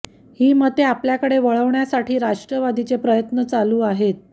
ही मते आपल्याकडे वळवण्यासाठी राष्ट्रवादीचे प्रयत्न चालू आहेत